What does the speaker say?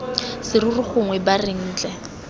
serori gongwe b reng ntle